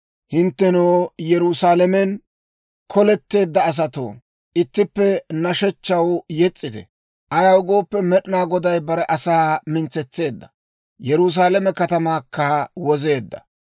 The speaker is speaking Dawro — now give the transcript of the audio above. Hinttenoo Yerusaalamen koletteedda saatoo, ittippe nashshechchaw yes's'ite; ayaw gooppe, Med'inaa Goday bare asaa mintsetseedda; Yerusaalame katamaakka wozeedda.